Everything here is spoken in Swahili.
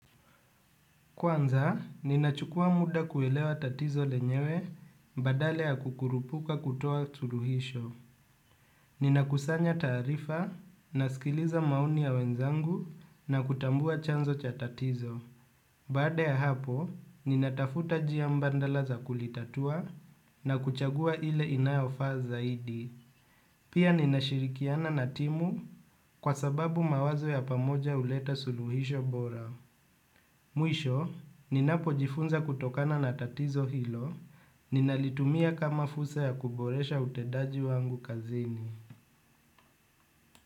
Kwanza, ninachukua muda kuelewa tatizo lenyewe badala ya kukurupuka kutoa suluhisho. Ninakusanya taarifa nasikiliza maoni ya wenzangu na kutambua chanzo cha tatizo. Baada ya hapo, ninatafuta njia mbadala za kulitatua na kuchagua ile inayofaa zaidi. Pia ninashirikiana na timu kwa sababu mawazo ya pamoja huleta suluhisho bora. Mwisho, ninapojifunza kutokana na tatizo hilo, ninalitumia kama fursa ya kuboresha utendaji wangu kazini.